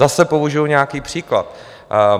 Zase použiju nějaký příklad.